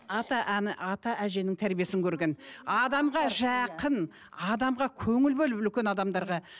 ата ана ата әженің тәрбиесін көрген адамға жақын адамға көңіл бөліп үлкен адамдарға